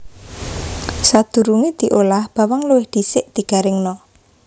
Sadurungé diolah bawang luwih dhisik digaringna